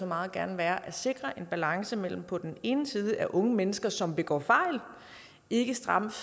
meget gerne være at sikre en balance mellem på den ene side at unge mennesker som begår fejl ikke straffes